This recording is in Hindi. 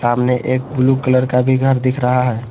सामने एक ब्लू कलर का भी घर दिख रहा है।